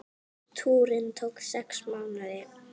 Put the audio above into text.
Túrinn tók sex mánuði.